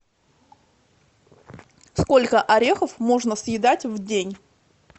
сколько орехов можно съедать в день